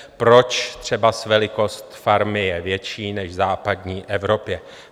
Proč třeba velikost farmy je větší než v západní Evropě.